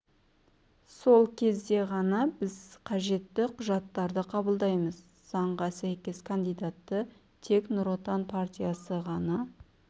сол кезде ғана біз қажетті құжаттарды қабылдаймыз заңға сәйкес кандидатты тек нұр отан партиясы ғана